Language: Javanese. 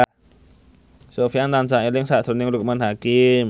Sofyan tansah eling sakjroning Loekman Hakim